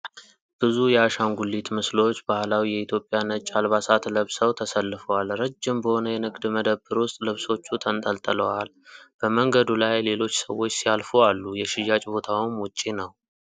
ብዙ የአሻንጉሊት ምስሎች ባህላዊ የኢትዮጵያ ነጭ አልባሳት ለብሰው ተሰልፈዋል። ረጅም በሆነ የንግድ መደብር ውስጥ ልብሶቹ ተንጠልጥለዋል። በመንገዱ ላይ ሌሎች ሰዎች ሲያልፉ አሉ፤ የሽያጭ ቦታውም ውጪ ነው።